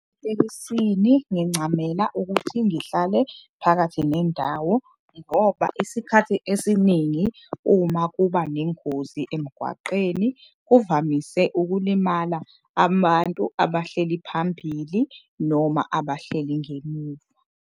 Etekisini ngincamela ukuthi ngihlale phakathi nendawo ngoba isikhathi esiningi uma kuba nengozi emgwaqeni. Kuvamise ukulimala amantu abahleli phambili noma abahleli ngemuva.